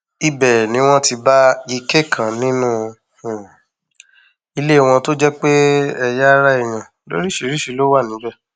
ibẹ ni wọn ti bá ike kan nínú um ilé wọn tó jẹ pé ẹyà um ara èèyàn lóríṣìíríṣìí ló wà níbẹ